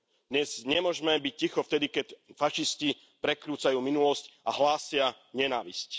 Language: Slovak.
Dnes nemôžeme byť ticho vtedy, keď fašisti prekrúcajú minulosť a hlásia nenávisť.